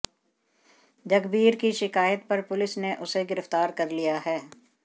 जगबीर की शिकायत पर पुलिस ने उसे गिरफ्तार कर लिया है